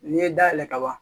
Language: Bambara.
N'i ye dayɛlɛ ka ban